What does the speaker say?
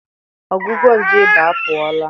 Ọgwụgwọ nje ịba apụọla.